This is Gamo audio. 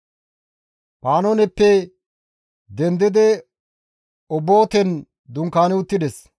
Panooneppe dendidi Obooten dunkaani uttides.